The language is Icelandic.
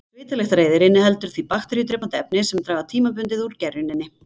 svitalyktareyðir inniheldur því bakteríudrepandi efni sem draga tímabundið úr gerjuninni